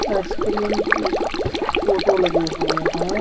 Ice cream के photo लगे हुए हैं।